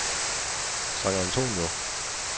San Antonio